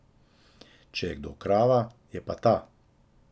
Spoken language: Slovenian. Če je kdo krava, je pa ta.